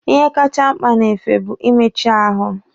Ihe kacha mkpa n'efe bụ ị méchí ahụ.